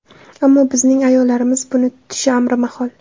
Ammo bizning ayollarimiz buni tutishi amri mahol.